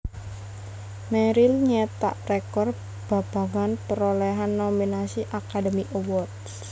Meryl nyetak rekor babagan parolehan nominasi Academy Awards